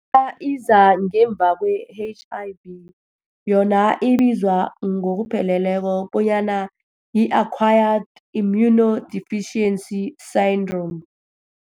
iza ngemva kwe-H_I_V. Yona ibizwa ngokupheleleko bonyana yi-acquired immunodeficiency syndrome.